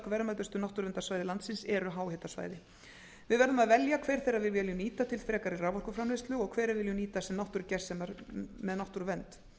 verðmætustu náttúruverndarsvæði landsins eru háhitasvæði við verðum að velja hver þeirra við viljum nýta til frekari raforkuframleiðslu og hver við viljum nýta sem náttúrugersemar með náttúruvernd